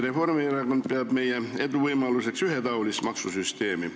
Reformierakond peab meie eduvõimaluseks ühetaolist maksusüsteemi.